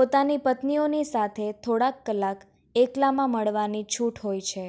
પોતાની પત્નીઓની સાથે થોડાંક કલાક એકલામાં મળવાની છૂટ હોય છે